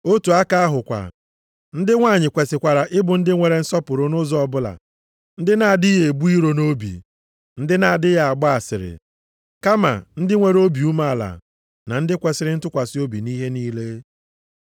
Otu aka ahụ kwa, ndị nwanyị kwesikwara ịbụ ndị nwere nsọpụrụ nʼụzọ ọbụla, ndị na-adịghị ebu iro nʼobi, ndị na-adịghị agba asịrị, kama ndị nwere obi umeala, na ndị kwesiri ntụkwasị obi nʼihe niile.